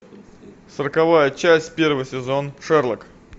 сороковая часть первый сезон шерлок